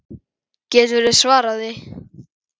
Geturðu svarað því?